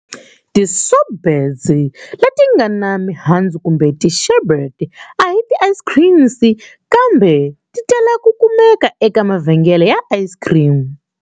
Ti sorbets letingana mihandzu kumbe ti sherbets ahi ti ice creams kambe titala ku kumeka eka mavhengele ya ice cream.